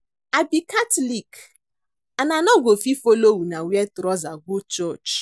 I be catholic and I no go fit follow una wear trouser go church